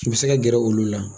U be se ka gɛrɛ olu la.